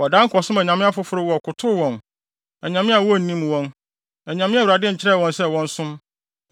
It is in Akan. Wɔdan kɔsom anyame afoforo wɔkotow wɔn, anyame a wonnim wɔn, anyame a Awurade nkyerɛɛ wɔn sɛ wɔnsom.